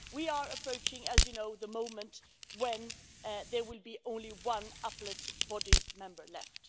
We are approaching, as you know, the moment when there will be only one Appellate Body member left.